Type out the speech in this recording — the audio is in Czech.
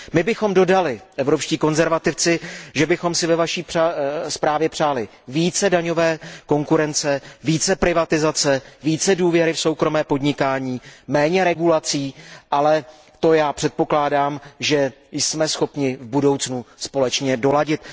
My, evropští konzervativci, bychom dodali, že bychom si ve Vaší zprávě přáli více daňové konkurence, více privatizace, více důvěry v soukromé podnikání, méně regulací, ale to předpokládám, že jsme schopni v budoucnu společně doladit.